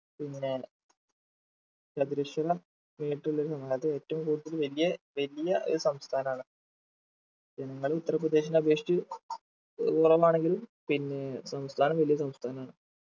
പിന്നെ ചതുരശ്ര metre ല് അതായത് ഏറ്റവും കൂടുതൽ വലിയ വലിയ ഒരു സംസ്ഥാനാണ് എന്നാലും ഉത്തർപ്രദേശിനേ അപേക്ഷിച്ച് കുറവാണെങ്കിലും പിന്നേ സംസ്ഥാനം വലിയ സംസ്ഥാനാണ്